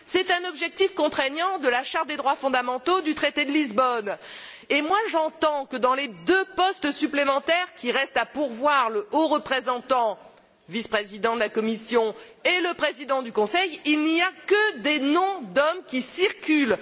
C'est un objectif contraignant de la Charte des droits fondamentaux du traité de Lisbonne. Or, j'entends que, pour les deux postes supplémentaires qui restent à pourvoir, le haut représentant, vice président de la Commission, et le président du Conseil, il n'y a que des noms d'hommes qui circulent.